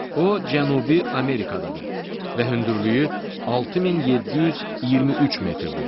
O Cənubi Amerikadadır və hündürlüyü 6723 metrdir.